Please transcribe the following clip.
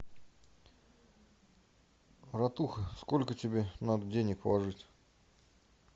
братуха сколько тебе надо денег положить